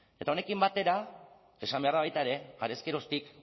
eta honekin batera esan behar da baita ere harez geroztik